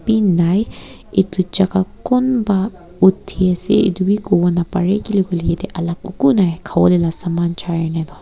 beh nai eto chaka kunba uti ase etobe kobo napare keli koiletoh yati alak eko nai kavole saman charikina toh.